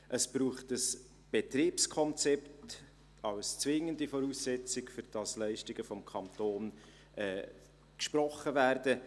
Es braucht ein Betriebskonzept als zwingende Voraussetzung, damit Leistungen des Kantons gesprochen werden.